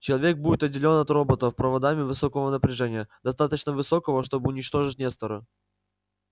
человек будет отделён от роботов проводами высокого напряжения достаточно высокого чтобы уничтожить нестора